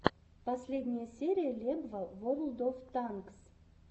последняя серия лебва ворлд оф танкс